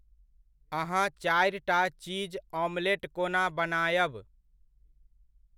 अहाँ चारिटा चीज़ ऑमलेट कोना बनायब?